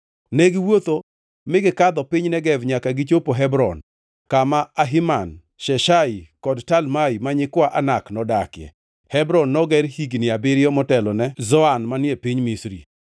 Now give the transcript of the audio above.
Ne giwuotho mi gikadho piny Negev nyaka gichopo Hebron, kama Ahiman, Sheshai kod Talmai, ma nyikwa Anak nodakie. (Hebron noger higni abiriyo motelone Zoan manie piny Misri.)